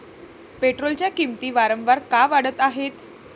पेट्रोलच्या किंमती वारंवार का वाढत आहेत?